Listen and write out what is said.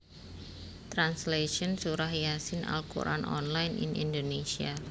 Translation Surat Yaa Siin Al Qur an online in Indonesia